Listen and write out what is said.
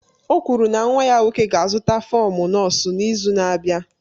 O kwuru na nwa ya nwoke ga-azụta fọm nọọsụ n'izu na-abịa.